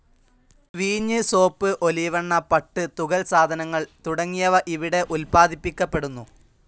വീഞ്ഞ്, സോപ്പ്, ഒലിവെണ്ണ, പട്ട്, തുകൽസാധനങ്ങൾ തുടങ്ങിയവ ഇവിടെ ഉൽപ്പാദിപ്പിക്കപ്പെടുന്നു.